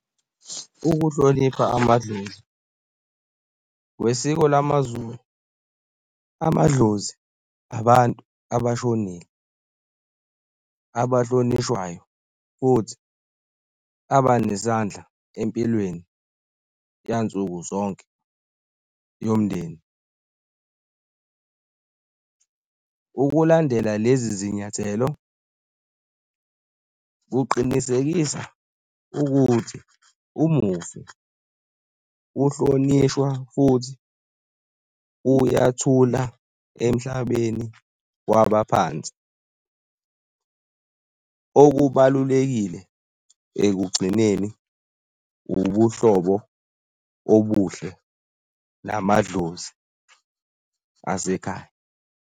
Ukuhlonipha amadlozi kwesiko lamaZulu amadlozi abantu abashonile, abahlonishwayo futhi aba nesandla empilweni yansuku zonke yomndeni. Ukulandela lezi zinyathelo kuqinisekisa ukuthi umufi uhlonishwa futhi uyathula emhlabeni wabaphansi. Okubalulekile ekugcineni ubuhlobo obuhle namadlozi asekhaya.